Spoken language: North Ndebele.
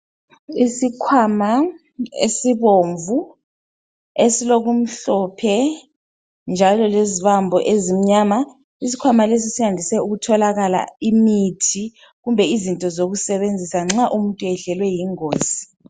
Isikhwama esibomvu esilokumhlophe njalo lezibambo ezimnyama. Isikhwama lesi siyandiswe ukutholakala imithi kumbe izinto zokusebenzisa nxa umuntu eyehlelwe yingozi